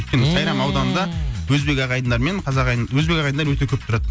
өйткені сайрам ауданында өзбек ағайындар мен қазақ ағайын өзбек ағайындар өте көп тұрады